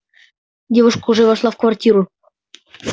девушка уже вошла в квартиру